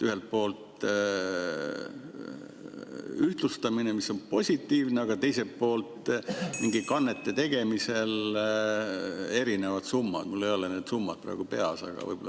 Ühelt poolt ühtlustamine, mis on positiivne, aga teiselt poolt mingite kannete tegemisel erinevad summad, mul ei ole need summad praegu peas, aga võib-olla ...